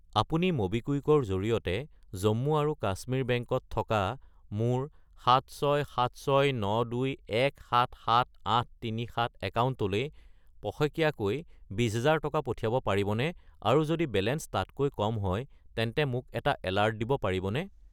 আপুনি ম'বিকুইক -ৰ জৰিয়তে জম্মু আৰু কাশ্মীৰ বেংক -ত থকা মোৰ 767692177837 একাউণ্টলৈ পষেকীয়াকৈ 20000 টকা পঠিয়াব পাৰিবনে আৰু যদি বেলেঞ্চ তাতকৈ কম হয় তেন্তে মোক এটা এলাৰ্ট দিব পাৰিবনে?